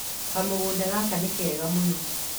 Kamũgũnda gake nĩ kega mũno.